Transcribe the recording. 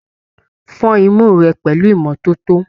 Fọn imú rẹ pẹlú ìmọ́tótó!